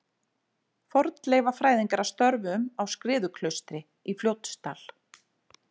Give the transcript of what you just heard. Fornleifafræðingar að störfum á Skriðuklaustri í Fljótsdal.